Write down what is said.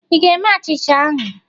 Ị ga-eme achịcha ahụ?